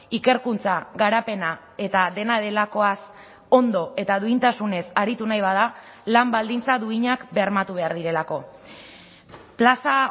ikerkuntza garapena eta dena delakoaz ondo eta duintasunez aritu nahi bada lan baldintza duinak bermatu behar direlako plaza